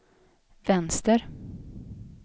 vänster